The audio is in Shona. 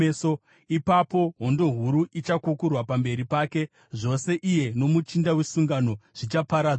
Ipapo hondo huru ichakukurwa pamberi pake; zvose iye nomuchinda wesungano zvichaparadzwa.